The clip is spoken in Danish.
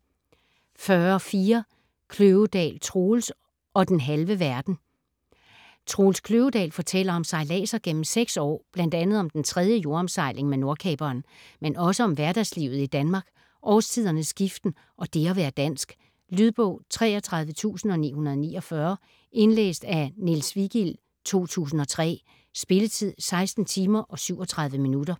40.4 Kløvedal, Troels: - og den halve verden Troels Kløvedal fortæller om sejladser gennem seks år, bl.a. om den tredje jordomsejling med Nordkaperen. Men også om hverdagslivet i Danmark, årstidernes skiften og det at være dansk. Lydbog 33949 Indlæst af Niels Vigild, 2003. Spilletid: 16 timer, 37 minutter.